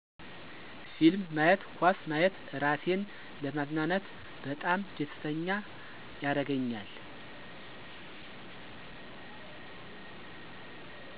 ፊልም ማየት ኳስ ማየት እራሴን ለማዝናናት በጣም ደስተኛ ያረገኛል